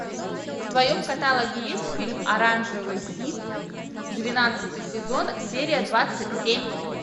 в твоем каталоге есть фильм оранжевый хит двенадцатый сезон серия двадцать семь